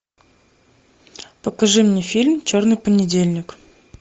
покажи мне фильм черный понедельник